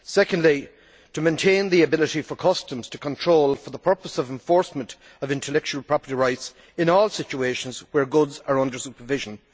Secondly, it seeks to maintain the ability for customs to have control, for the purpose of enforcement of intellectual property rights, in all situations where goods are under supervision.